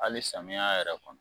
Ali samiya yɛrɛ kɔnɔ